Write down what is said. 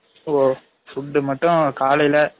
ஓ food மட்டும் காலைல